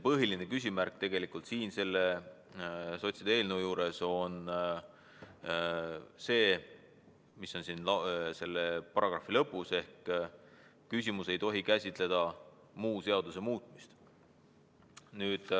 Põhiline küsimärk sotside eelnõu puhul on tegelikult see, mis puudutab muudetava paragrahvi lõppu: "küsimus ei tohi käsitleda muu seaduse muutmist".